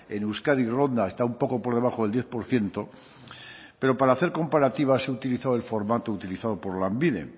en euskadi ronda está un poco por debajo del diez por ciento pero para hacer comparativas se ha utilizado el formato utilizado por lanbide